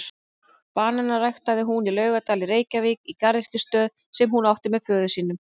Bananana ræktaði hún í Laugardal í Reykjavík í garðyrkjustöð sem hún átti með föður sínum.